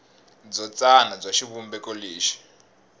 byo tsana bya xivumbeko lexi